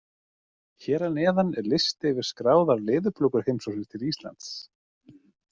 Hér að neðan er listi yfir skráðar leðurblökuheimsóknir til Íslands.